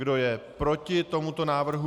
Kdo je proti tomuto návrhu?